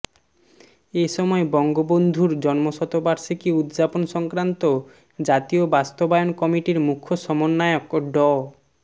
এ সময় বঙ্গবন্ধুর জন্মশতবার্ষিকী উদযাপন সংক্রান্ত জাতীয় বাস্তবায়ন কমিটির মুখ্য সমন্বয়ক ড